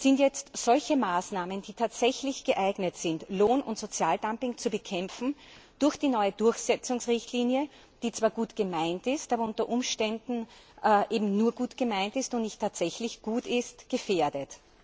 Sind jetzt solche Maßnahmen, die tatsächlich geeignet sind, Lohn und Sozialdumping zu bekämpfen, durch die neue Durchsetzungsrichtlinie, die zwar gut gemeint ist, aber unter Umständen eben nur gut gemeint und nicht tatsächlich gut ist, gefährdet?